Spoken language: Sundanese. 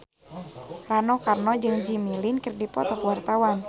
Rano Karno jeung Jimmy Lin keur dipoto ku wartawan